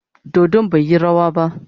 Dodon bai yi rawa ba.